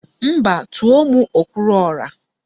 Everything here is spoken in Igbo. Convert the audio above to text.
Mba, tùó mụ okwuruọra